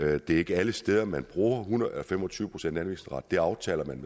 at det ikke er alle steder man bruger fem og tyve procent anvisningsret der aftaler man